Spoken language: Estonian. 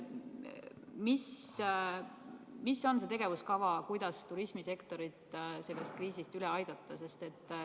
Milline on see tegevuskava, kuidas turismisektorit sellest kriisist üle aidata?